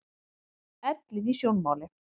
Ellin í sjónmáli.